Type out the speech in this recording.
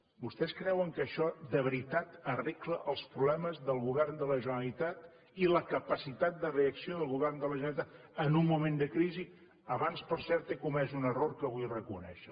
vostès creuen que això de veritat arregla els problemes del govern de la generalitat i la capacitat de reacció del go vern de la generalitat en un moment de crisi abans per cert he comès un error que vull reconèixer